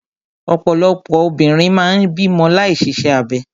Ọ̀pọ̀lọpọ̀ obìnrin máa ń bímọ láì ṣiṣẹ́ abẹ.